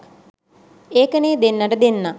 ඒකනේ දෙන්නට දෙන්නා